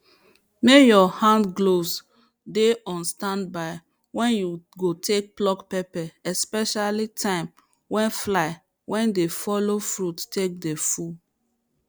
may your handgloves dey on stand by wen you go take pluck pepper especially time wen fly wey dey follow fruit take dey full